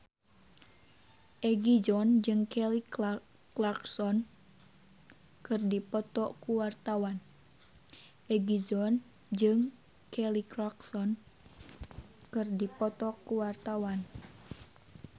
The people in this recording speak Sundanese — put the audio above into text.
Egi John jeung Kelly Clarkson keur dipoto ku wartawan